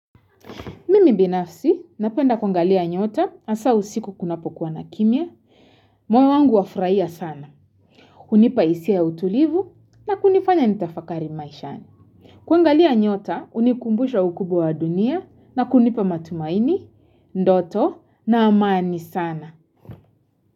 Mimi binafsi, napenda kwangalia nyota asau siku kunapokuwa na kimia. Moyo wangu wafraia sana. Kunipa isia ya utulivu na kunifanya nitafakari maishani. Kwangalia nyota, unikumbusha ukubu wa dunia na kunipa matumaini, ndoto na amani sana.